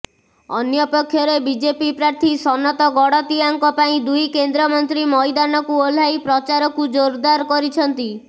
ଅନ୍ୟପକ୍ଷରେ ବିଜେପି ପ୍ରାର୍ଥୀ ସନତ ଗଡ଼ତିଆଙ୍କ ପାଇଁ ଦୁଇ କେନ୍ଦ୍ରମନ୍ତ୍ରୀ ମଇଦାନକୁ ଓହ୍ଲାଇ ପ୍ରଚାରକୁ ଜୋରଦାର କରିଛନ୍ତି